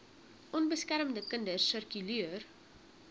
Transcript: onbeskermde kinders sirkuleer